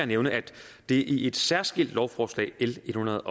nævne at det i et særskilt lovforslag l en hundrede